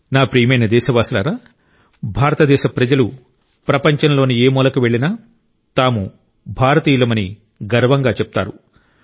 నా ప్రియమైన దేశ వాసులారా భారతదేశ ప్రజలు ప్రపంచంలోని ఏ మూలకు వెళ్ళినా తాము భారతీయులమని గర్వంగా చెప్తారు